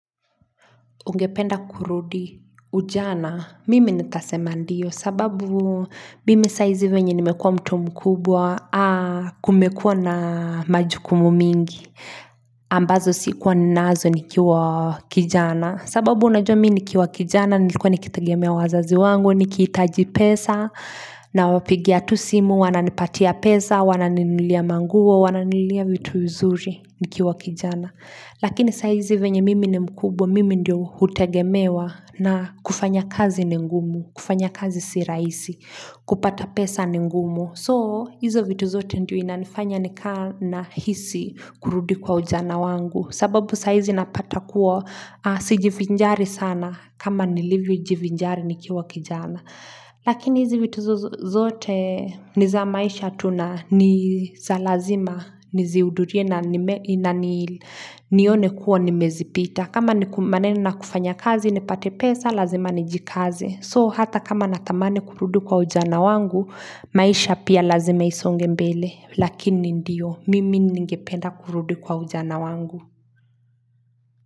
Ungependa kurudi ujana, mimi nitasema ndio, sababu mimi saizi venye nimekua mtu mkubwa, kumekua na majukumu mingi, ambazo sikuwa ninaazo nikiwa kijana, sababu unajua mii nikiwa kijana, nilikuwa nikitagia mea wazazi wangu, nikitaji pesa, na wapigia tu simu, wana nipatia pesa, wana nilia mangua, wana nilia vitu uzuri nikiwa kijana. Lakini saizi venye mimi ni mkubwa, mimi ndio hutegemewa na kufanya kazi ni ngumu, kufanya kazi siraisi, kupata pesa nengumu. So, hizo vitu zote ndio inanifanya nikana hisi kurudi kwa ujana wangu. Sababu saizi napata kuwa sijivinjari sana kama nilivyo jivinjari nikia wakijana. Lakini hizi witu zote niza maisha tu na niza lazima niziudurie na nione kuwa nimezipita kama maneno na kufanya kazi nipate pesa lazima nijikaze So hata kama natamane kurudi kwa ujana wangu maisha pia lazima isonge mbele Lakini ndiyo mimi ningependa kurudu kwa ujana wangu.